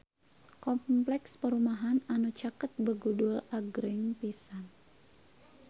Kompleks perumahan anu caket Begudul agreng pisan